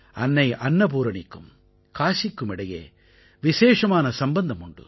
அன்னை அன்னபூரணிக்கும் காசிக்கும் இடையே விசேஷமான சம்பந்தம் உண்டு